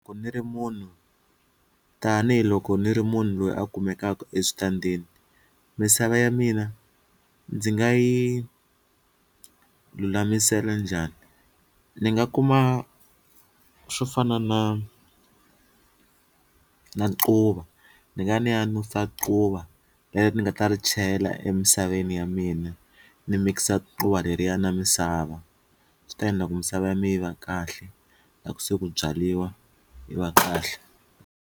Ku ni ri munhu tanihiloko ni ri munhu loyi a kumekaka eswitandini misava ya mina ndzi nga yi lulamisela njhani ni nga kuma swo fana na na quva ni nga ni ya nusa quva leri ni nga ta ri chela emisaveni ya mina ni mikisa quva leriya na misava, swi ta endla ku misava ya mina yi va kahle loko se ku byaliwa yi va kahle.